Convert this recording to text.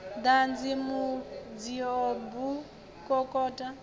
ḓadzi mudzio b u kokota